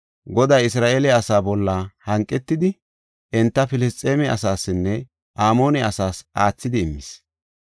Goday Isra7eele asa bolla hanqetidi, enta Filisxeeme asaasinne Amoone asaas aathidi immis.